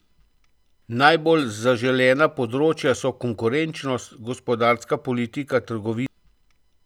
Najbolj zaželena področja so konkurenčnost, gospodarska politika, trgovina.